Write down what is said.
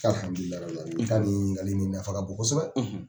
i ka nin ŋininkali nafa ka bon kosɛbɛ.